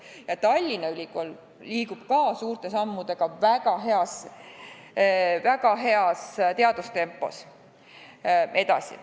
Ja Tallinna Ülikool liigub samuti suurte sammudega väga heas teadustempos edasi.